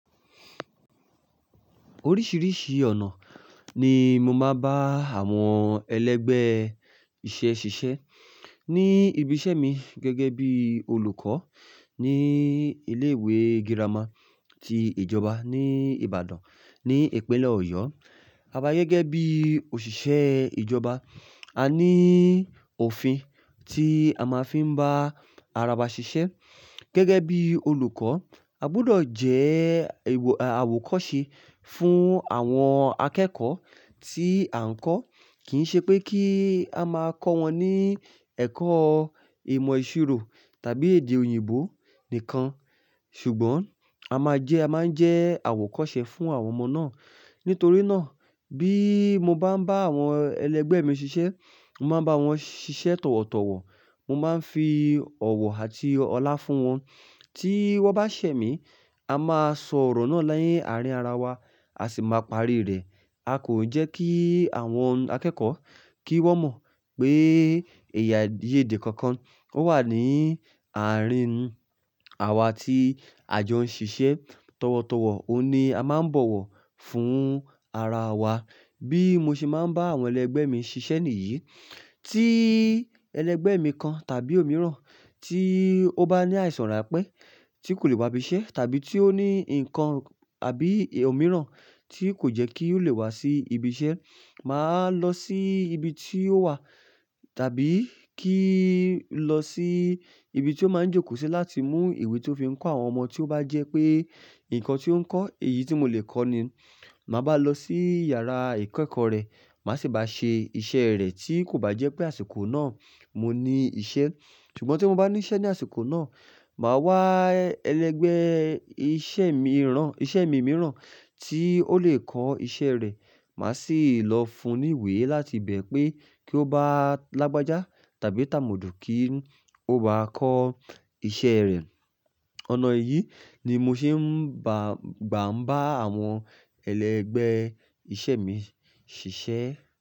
Oríṣiríṣi ọ̀nà ni mo máa ń bá àwọn ẹlẹgbẹ́ iṣẹ́ ṣiṣẹ́ ní ibi iṣẹ́ mi gẹ́gẹ́ bí olùkọ́ ní ilé ìwé girama tí ìjọba ní Ìbàdàn ní ìpínlẹ̀ Ọ̀yọ́. A bá gẹ́gẹ́ bí òṣìṣẹ́ ìjọba, a ní òfin tí a máa ń fi bá ara wa ṣiṣẹ́. Gẹ́gẹ́ bí olùkọ́, a gbọdọ̀ jẹ́ ẹ̀w-- àwòkọ́se fún àwọn akẹ́kọ̀ọ́ tí à ń kọ́. Kì í ṣe pé kí a máa kọ́ wọn ní ẹ̀kọ́ ìmọ̀ ìṣirò tàbí èdè òyìnbó nìkan, ṣùgbọ́n a máa jẹ́, a máa ń jẹ́ àwòkọ́ṣe fún àwọn ọmọ náà. Nítorí náà bí mo bá ń bá àwọn ẹlẹgbẹ́ mi ṣiṣẹ́, mo máa ń bá wọn ṣiṣẹ́ tọ̀wọ̀tọ̀wọ̀. Mo máa ń fi ọ̀wọ̀ àti ọlá fún wọn. Tí wọ́n bá ṣẹ̀ mí, a máa sọ ọ̀rọ̀ náà lẹ́yìn àárín ara wa, a sì máa parí rẹ̀. A kò jẹ́ kí àwọn akẹ́kọ̀ọ́ kí wọ́n mọ̀ pé ẹ̀yà èdè kankan ó wà ní àárín wa tí a jọ ń ṣiṣẹ́. Tọ̀wọ̀tọ̀wọ̀, òun ni a máa ń bọ̀wọ̀ fún ara wa. Bí mo ṣe máa ń bá àwọn ẹlẹgbẹ́ mi ṣiṣẹ́ nìyí, tí ẹlẹgbẹ́ mi kan tàbí òmíràn tí ó bá ní àìsàn ránpé tí kò lè wá ibi iṣẹ́ tàbí tí ó ní nǹkan àbí òmíràn tí kò jẹ́ kí ó lè wá sí ibi iṣẹ́, màá lọ sí ibi tí ó wà tàbí kí ó lọ sí ibi tí ó máa ń jókòó sí láti mú ìwé tó fi ń kọ́ àwọn ọmọ tí ó bá jẹ́ pé nǹkan tí ó ń kọ́, èyí tí mo lè kọ́ ni. Màá bá lọ sí yàrá ìkẹ́ẹ̀kọ́ rẹ̀, màá sì bá ṣe iṣẹ́ rẹ̀ tí kò bá jẹ́ pé àsìkò náà mo ní iṣẹ́. Ṣùgbọ́n tí mo bá ní iṣẹ́ ní àsìkò náà, màá wá ẹlẹgbẹ́ iṣẹ́ mi rán, iṣẹ́ mi mìíràn tí ó lè kọ́ iṣẹ́ rẹ̀. Màá sì lọ fún un ìwé láti bẹ̀ pé kí ó bá lágbájá tàbí tà mọ̀dù kí ó bá kọ́ iṣẹ́ rẹ̀. Ọ̀nà yìí ni mo ṣe ń ba, gbà ń bá àwọn ẹlẹgbẹ́ iṣẹ́ mi ṣiṣẹ́.